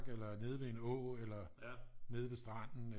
Eller nede ved en å eller nede ved stranden eller